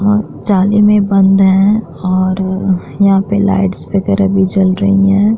और जाली में बंद हैं और यहां पर लाइट्स वगैरा भी जल रही हैं।